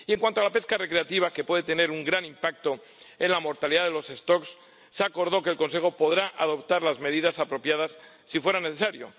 Y en cuanto a la pesca recreativa, que puede tener un gran impacto en la mortalidad de las poblaciones, se acordó que el Consejo podrá adoptar las medidas apropiadas si fuera necesario.